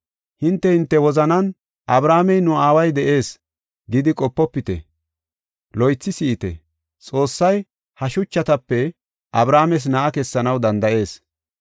Hinte, hinte wozanan, ‘Abrahaamey, nu aaway de7ees’ gidi qopofite. Loythi si7ite! Xoossay ha shuchatape Abrahaames na7a kessanaw danda7ees.